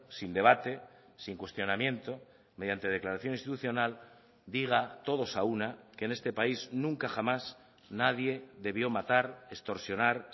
sin debate sin cuestionamiento mediante declaración institucional diga todos a una que en este país nunca jamás nadie debió matar extorsionar